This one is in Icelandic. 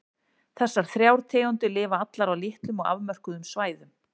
Þessar þrjár tegundir lifa allar á litlum og afmörkuðum svæðum.